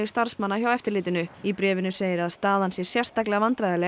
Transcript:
starfsmanna hjá eftirlitinu í bréfinu segir að staðan sé sérstaklega